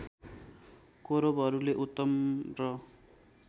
कौरवहरूले उत्तम र